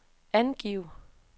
angiv